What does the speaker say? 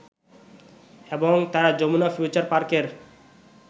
এবং তারা যমুনা ফিউচার পার্কের